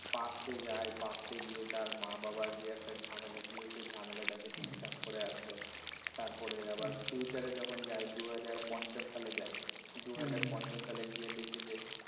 past যায় past গিয়ে তার মা-বাবার যে একটা ঝামেলা ছিল সেটা ঝামেলাটাকে ঠিকঠাক করে আসে। তারপরে আবার future যখন যায় দু হাজার পঞ্চাশ সালে যায় দু হাজার পঞ্চাশ সালে গিয়ে দেখে যে